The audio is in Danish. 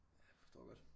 Ja forstår godt